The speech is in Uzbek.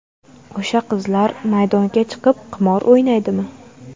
O‘sha qizlar maydonga chiqib, qimor o‘ynaydimi?